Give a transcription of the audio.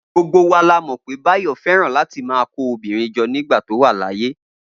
Gbogbo wa la mọ̀ pé Báyọ̀ fẹ́ràn láti máa kó obìnrin jọ nígbà tó wà láyé